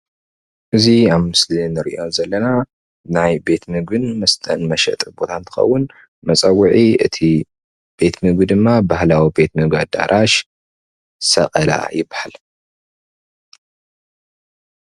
እዚ ኣብ ምስሊ እንሪኦ ዘለና ናይ ቤት ምግብን መስተን መሸጢ ቦታ እንትከውን መፀውዒ እቲ ቤት ምግቢ ድማ ባህላዊ ቤት ምግቢ አዳራሽ ሰቀላ ይበሃል፡፡